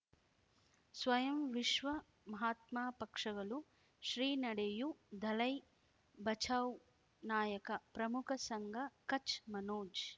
ಸ್ವಯಂ ವಿಶ್ವ ಮಹಾತ್ಮ ಪಕ್ಷಗಳು ಶ್ರೀ ನಡೆಯೂ ದಲೈ ಬಚೌ ನಾಯಕ ಪ್ರಮುಖ ಸಂಘ ಕಚ್ ಮನೋಜ್